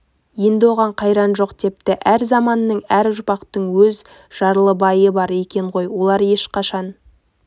енді оған қайран жоқ депті әр заманның әр ұрпақтың өз жарлыбайы бар екен ғой олар ешқашан